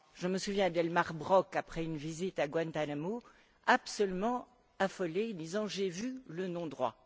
Je me souviens d'Elmar Brok, après une visite à Guantánamo, absolument affolé, disant J'ai vu le non droit.